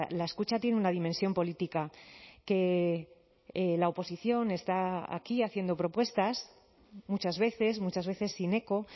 la escucha tiene una dimensión política que la oposición está aquí haciendo propuestas muchas veces muchas veces sin eco